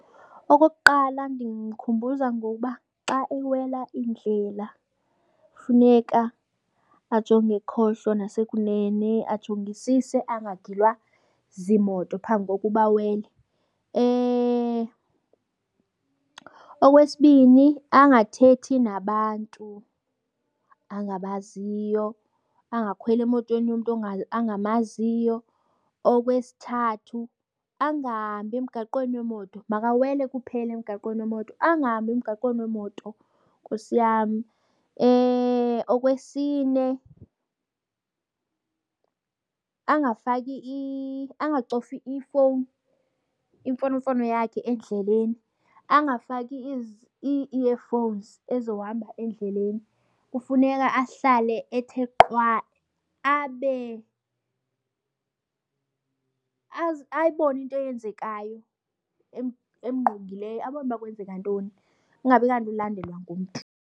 Okokuqala ndimkhumbuza ngoba xa ewela iindlela funeka ajonge ekhohlo nasekunene, ajongisise angagilwa ziimoto phambi kokuba awele. Okwesibini angathethi nabantu angabaziyo, angakhweli emotweni yomntu angamaziyo. Okwesithathu angahambi emgaqweni wemoto, makawele kuphele emgaqweni wemoto. Angahambi emgaqweni wemoto, Nkosi yam. Okwesine angafaki angacofi ifowuni imfonomfono yakhe endleleni, angafaki i-earphones ezohamba endleleni. Kufuneka ahlale ethe qwaa abe ayibone into eyenzekayo emngqongileyo. Abone uba kwenzeka ntoni, kungabi kanti ulandelwa ngumntu.